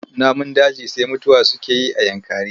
Namun daji sai mutuwa suke yi a Yankari.